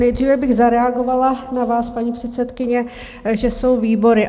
Nejdříve bych zareagovala na vás, paní předsedkyně, že jsou výbory.